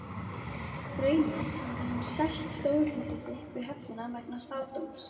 Raunar hafði hann selt stórhýsi sitt við höfnina vegna spádóms.